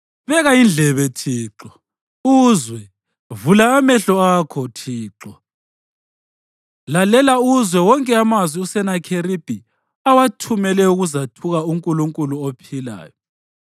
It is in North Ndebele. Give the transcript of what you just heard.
Beka indlebe Thixo, uzwe; vula amehlo akho Thixo, ubone. Lalela uzwe wonke amazwi uSenakheribhi awathumele ukuzathuka uNkulunkulu ophilayo.